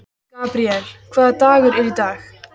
Gabríel, hvaða dagur er í dag?